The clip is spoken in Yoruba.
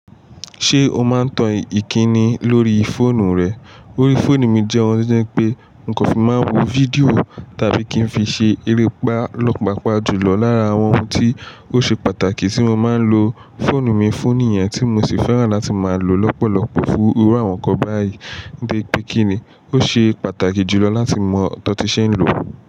Ṣé o máa ń tan ìkíni lórí fóònù rẹ? Orí fóònù mi jẹ́ ohun tí ó jẹ́ pé n kò fi máa ń wo fídíò tàbí kí n fi ṣe erépá lọ́pápá jùlọ lára àwọn ohun tí ó ṣe pàtàkì tí mo máa ń lo fóònù mi fún níyẹn tí mo sì fẹ́ràn láti máa lò lọ́pọ̀lọpọ̀ fún irú àwọn nǹkan báyìí. Gẹ́gẹ́ kíni, ó ṣe pàtàkì jùlọ láti mọ ohun tí ṣé ń lòó.